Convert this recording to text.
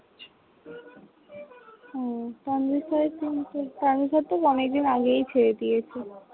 ও Tanvir sir এর team তো Tanvir sir তো অনেক দিন আগেই ছেড়ে দিয়েছে।